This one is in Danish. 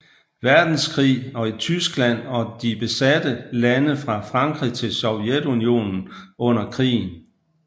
Verdenskrig og i Tyskland og de besatte lande fra Frankrig til Sovjetunionen under krigen